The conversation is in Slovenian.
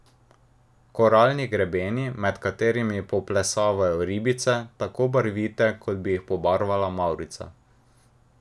Koralni grebeni, med katerimi poplesavajo ribice, tako barvite, kot bi jih pobarvala mavrica.